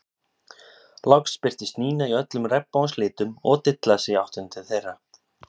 Loks birtist Nína í öllum regnbogans litum og dillaði sér í áttina til þeirra.